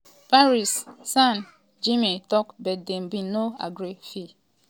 paris st germain tok but dem bin no agree fee wit napoli.